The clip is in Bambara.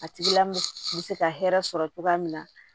A tigi la bɛ se ka hɛrɛ sɔrɔ cogoya min na